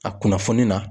A kunnafoni na